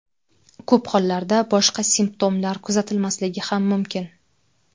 Ko‘p hollarda boshqa simptomlar kuzatilmasligi ham mumkin.